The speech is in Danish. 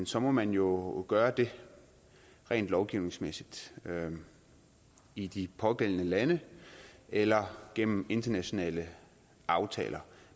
så må man jo gøre det rent lovgivningsmæssigt i de pågældende lande eller gennem internationale aftaler